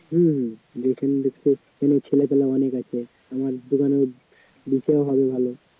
হম যখন দেখবে এখানে ছেলে পেলে অনেক আছে আমার দোকানে বিক্রয় হবে ভালো